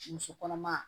Muso kɔnɔma